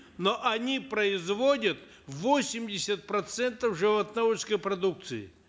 но они производят восемьдесят процентов животноводческой продукции